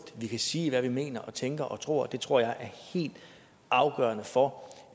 sige hvad vi mener tænker og tror det tror jeg er helt afgørende for